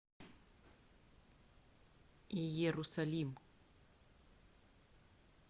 иерусалим